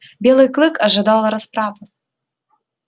белый клык ожидал расправы